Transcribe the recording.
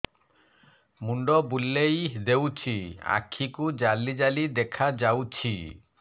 ମୁଣ୍ଡ ବୁଲେଇ ଦେଉଛି ଆଖି କୁ ଜାଲି ଜାଲି ଦେଖା ଯାଉଛି